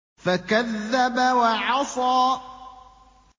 فَكَذَّبَ وَعَصَىٰ